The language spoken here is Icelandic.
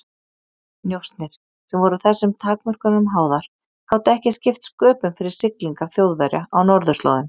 Njósnir, sem voru þessum takmörkunum háðar, gátu ekki skipt sköpum fyrir siglingar Þjóðverja á norðurslóðum.